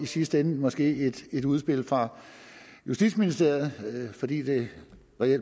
sidste ende måske i et udspil fra justitsministeriet fordi det